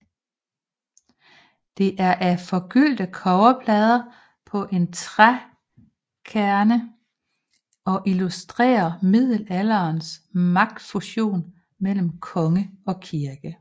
Det er af forgyldte kobberplader på en trækerne og illustrerer middelalderens magtfusion mellem konge og kirke